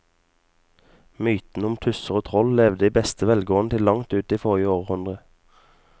Mytene om tusser og troll levde i beste velgående til langt inn i forrige århundre.